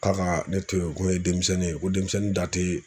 K'a kaa ne to ye, ko n ye demisɛnnin ye, ko demisɛnnin da te